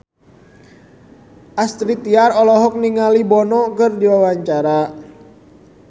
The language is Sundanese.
Astrid Tiar olohok ningali Bono keur diwawancara